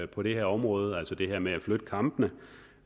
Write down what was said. på det her område altså det her med at flytte kampene